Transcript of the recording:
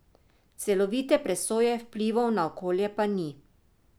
Celovite presoje vplivov na okolje pa ni.